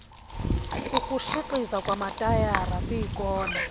ukutshixiza kwamatayara kwiikona